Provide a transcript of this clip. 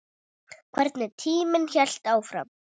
Hvernig tíminn hélt áfram.